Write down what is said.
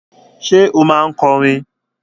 Ṣé o máa ń kọrin?